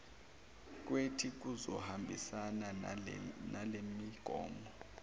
kwethi kuzohambisana nalemigomo